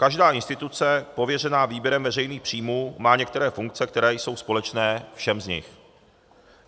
Každá instituce pověřená výběrem veřejných příjmů má některé funkce, kterou jsou společné všem z nich.